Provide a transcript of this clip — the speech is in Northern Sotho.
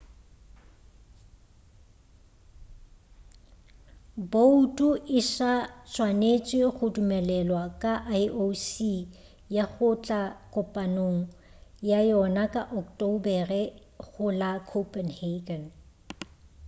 boutu e sa swanetše go dumelelwa ke ioc ya go tla kopanong ya yona ya ocktobere go la copenhagen